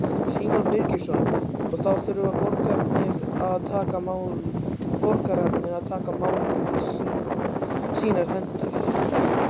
Símon Birgisson: Og þá þurfa borgararnir að taka málin í sínar hendur?